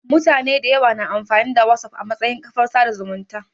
Mutane dayawa na amfani da Whatsapp a matsayin kafar sada zumunci